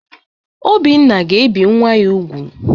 Obinna ga-ebi nwa ya nwoke úgwù.